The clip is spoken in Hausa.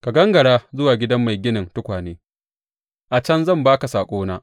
Ka gangara zuwa gidan mai ginin tukwane, a can zan ba ka saƙona.